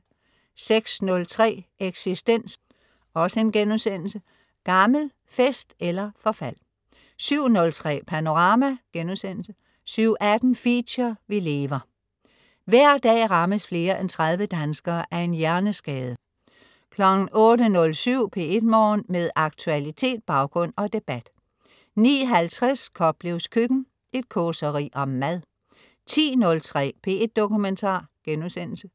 06.03 Eksistens.* Gammel. Fest eller forfald 07.03 Panorama* 07.18 Feature: Vi Lever. Hver dag rammes flere end 30 danskere af en hjerneskade 08.07 P1 Morgen. Med aktualitet, baggrund og debat 09.50 Koplevs Køkken. Et causeri om mad 10.03 P1 Dokumentar*